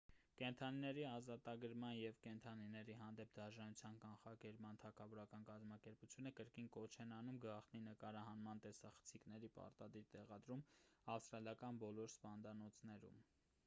կենդանիների ազատագրման և կենդանիների հանդեպ դաժանության կանխարգելման թագավորական կազմակերպությունը կրկին կոչ են անում գաղտնի նկարահանման տեսախցիկների պարտադիր տեղադրում ավստրալական բոլոր սպանդանոցներում